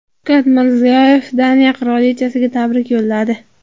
Shavkat Mirziyoyev Daniya qirolichasiga tabrik yo‘lladi.